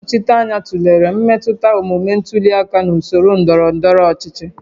Ndị nnọchiteanya tụlere mmetụta omume ntuli aka na usoro ndọrọ ndọrọ ọchịchị